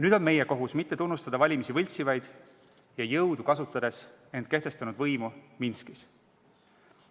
Nüüd on meie kohus mitte tunnustada valimisi võltsinud ja jõudu kasutades end kehtestanud võimu Minskis.